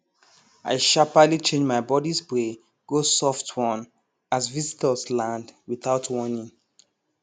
i sharperly change my body spray go soft one as visitors land without warning